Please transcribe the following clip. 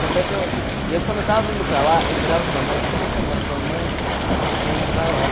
Tanto é que eu, e eu quando eu tava indo para lá, eu virava para mãe, eu fiquei uma semana falando, mãe, eu estou indo para lá.